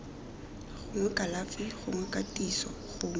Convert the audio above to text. gongwe kalafi gongwe katiso gongwe